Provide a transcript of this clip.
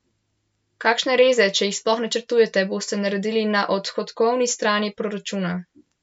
Kakšne reze, če jih sploh načrtujete, boste naredili na odhodkovni strani proračuna?